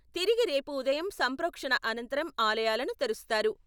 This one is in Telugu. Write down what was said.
తిరిగి రేపు ఉదయం సంప్రోక్షణ అనంతరం ఆలయాలను తెరుస్తారు.